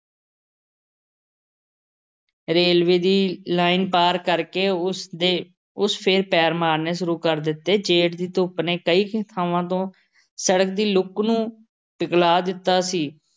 Railway ਦੀ line ਪਾਰ ਕਰ ਕੇ ਉਸਦੇ ਉਸ ਫੇਰ ਪੈਰ ਮਾਰਨੇ ਸ਼ੁਰੂ ਕਰ ਦਿੱਤੇ। ਜੇਠ ਦੀ ਧੁੱਪ ਨੇ ਕਈ-ਕਈ ਥਾਂਵਾਂ ਤੋਂ ਸੜਕ ਦੀ ਲੁੱਕ ਨੂੰ ਪਿਘਲਾ ਦਿੱਤਾ ਸੀ